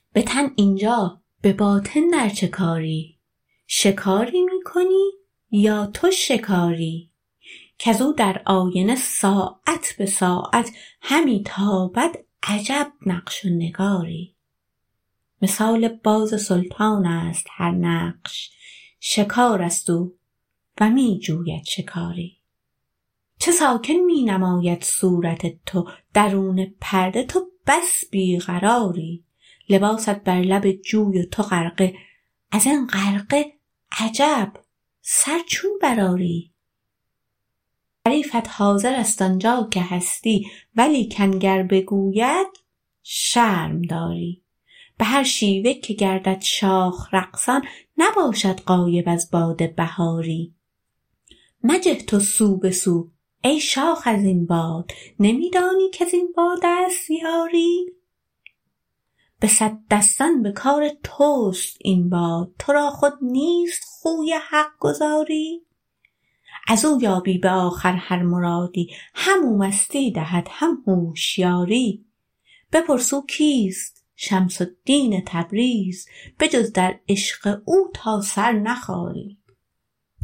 به تن این جا به باطن در چه کاری شکاری می کنی یا تو شکاری کز او در آینه ساعت به ساعت همی تابد عجب نقش و نگاری مثال باز سلطان است هر نقش شکار است او و می جوید شکاری چه ساکن می نماید صورت تو درون پرده تو بس بی قراری لباست بر لب جوی و تو غرقه از این غرقه عجب سر چون برآری حریفت حاضر است آن جا که هستی ولیکن گر بگوید شرم داری به هر شیوه که گردد شاخ رقصان نباشد غایب از باد بهاری مجه تو سو به سو ای شاخ از این باد نمی دانی کز این باد است یاری به صد دستان به کار توست این باد تو را خود نیست خوی حق گزاری از او یابی به آخر هر مرادی همو مستی دهد هم هوشیاری بپرس او کیست شمس الدین تبریز بجز در عشق او تا سر نخاری